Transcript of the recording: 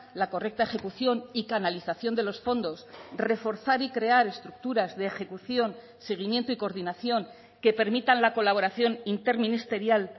la correcta ejecución y canalización de los fondos reforzar y crear estructuras de ejecución seguimiento y coordinación que permitan la colaboración interministerial